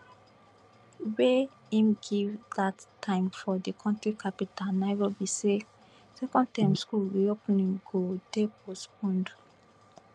wey im give dat time for di kontri capital nairobi say second term school reopening go dey postponed